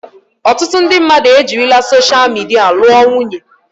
Ọtụtụ ndị mmadụ ejirila soshal midia lụọ nwunye.